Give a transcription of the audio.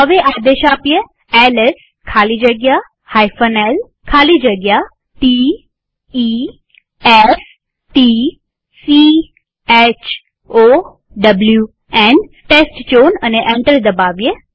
હવે આદેશ આપીએ એલએસ ખાલી જગ્યા l ખાલી જગ્યા t e s t c h o w ન અને એન્ટર દબાવીએ